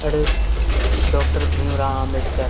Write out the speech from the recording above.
এটি ডক্টর ভীম রাও আম্বেদকর।